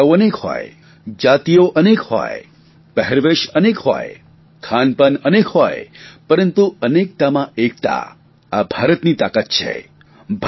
ભાષાઓ અનેક હોય જાતીઓ અનેક હોય પહેરવેશ અનેક હોય ખાનપાન અનેક હોય પરંતુ અનેકતામાં એકતા આ ભારતની તાકાત છે